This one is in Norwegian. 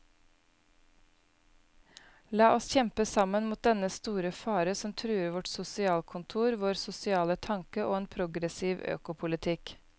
La oss kjempe sammen mot dennne store fare som truer vårt sosialkontor, vår sosiale tanke og en progressiv økopolitikk.